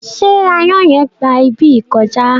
Ṣé aáyàn yen gba ibi yìí kọjá?